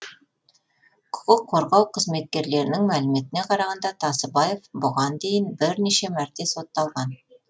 құқық қорғау қызметкерлерінің мәліметіне қарағанда тасыбаев бұған дейін бірнеше мәрте сотталған